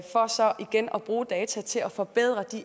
for så igen at bruge data til at forbedre